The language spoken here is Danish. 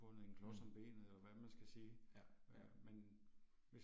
Mh. Ja, ja ja